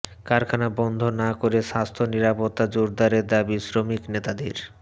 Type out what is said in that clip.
কারখানা বন্ধ না করে স্বাস্থ্য নিরাপত্তা জোরদারের দাবি শ্রমিক নেতাদের